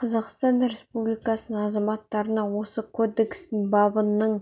қазақстан республикасының азаматтарына осы кодекстің бабының